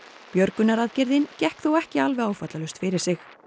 björgunaraðgerðin gekk þó ekki alveg áfallalaust fyrir sig